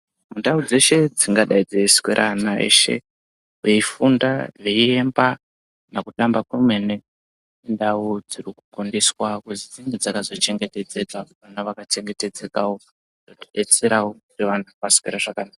Ndau dzeshe dzingadai dzeiswera ana eshe veifunda veiemba kana kutamba kwemene indau dzirikukurudzirwa kuzi dzinge dzakazochengetedzeka vana vakachengetedzekawo veidetserawo nevanhu voswerazvakanaka.